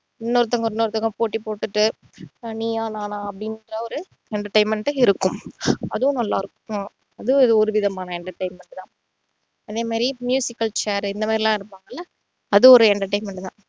இன்னொருத்தங்க இன்னொருத்தங்க போட்டி போட்டுட்டு இப்போ நீயா நானா அப்படின்ற ஒரு entertainment உம் இருக்கும் அதுவும் நல்லா இருக்கும் அதுவும் ஒரு விதமான entertainment தான் அதே மாதிரி al chair இந்த மாதிரி எல்லாம் எடுப்பாங்கள்ல அதுவும் ஒரு entertainment தான்